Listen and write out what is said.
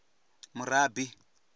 murabi